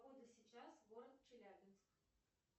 погода сейчас город челябинск